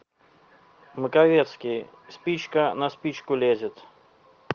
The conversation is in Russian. маковецкий спичка на спичку лезет